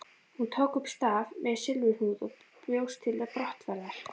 Hún tók upp staf með silfurhnúð og bjóst til brottferðar.